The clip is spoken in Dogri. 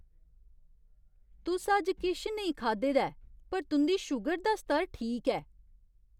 तुस अज्ज किश नेईं खाद्धे दा ऐ पर तुं'दी शूगर दा स्तर ठीक ऐ!